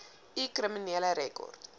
u kriminele rekord